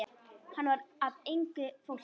Hann var af engu fólki.